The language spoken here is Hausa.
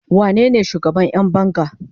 wanene shugaban Yan banga?